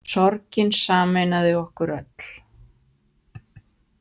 Sorgin sameinaði okkur öll.